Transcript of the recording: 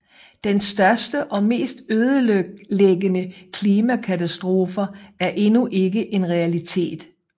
De største og mest ødelæggende klimakatastrofer er endnu ikke en realitet